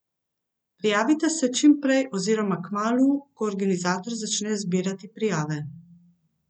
Prijavite se čim prej oziroma kmalu, ko organizator začne zbirati prijave.